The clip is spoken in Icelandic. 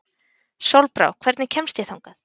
Sólbrá, hvernig kemst ég þangað?